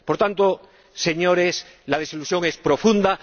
Por tanto, señores, la desilusión es profunda.